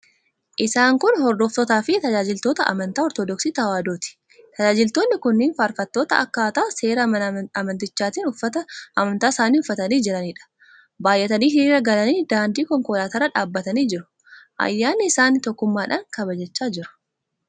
Isaan kun hordoftootaafi tajaajiltoota amantaa Ortodoksii Tewaahidooti. Tajaajiltoonni kunneen faarfattoota akkaataa seera amantichaatti uffata amantaa isaanii uffatanii jiraniidha. Baay'atanii hiriira galanii daandii konkolaataa irra dhaabbatanii jiru. Ayyaana isaanii tokkummaadhaan kabajachaa jiru.